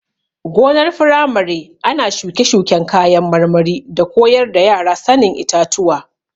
Gonar firamare ana shuke-shuken kayan marmari da koyar da yara sanin itatuwa.